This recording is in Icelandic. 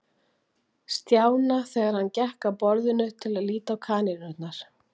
Stjána þegar hann gekk að borðinu til að líta á kanínurnar.